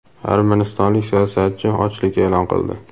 Armanistonlik siyosatchi ochlik e’lon qildi.